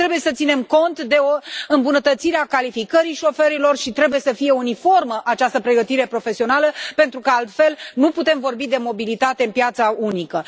Mai trebuie să ținem cont de o îmbunătățire a calificării șoferilor și trebuie să fie uniformă această pregătire profesională pentru că altfel nu putem vorbi de mobilitate în piața unică.